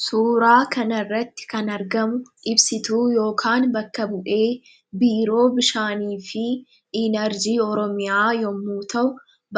Suuraa kanarratti kan argamu ibsituu yookaan bakka bu'ee biiroo bishaanii fi inarjii oromiyaa yommuu ta'u,